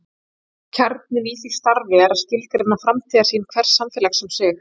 Kjarninn í því starfi er að skilgreina framtíðarsýn hvers samfélags um sig.